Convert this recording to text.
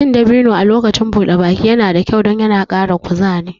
Cin dabino a lokacin buɗe baki yana da kyau don yana ƙara kuzari